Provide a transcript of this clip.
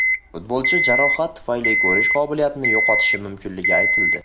Futbolchi jarohat tufayli ko‘rish qobiliyatini yo‘qotishi mumkinligi aytildi .